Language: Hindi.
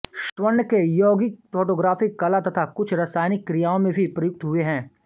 स्वर्ण के यौगिक फोटोग्राफी कला में तथा कुछ रासायनिक क्रियाओं में भी प्रयुक्त हुए हैं